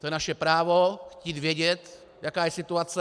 To je naše právo chtít vědět, jaká je situace.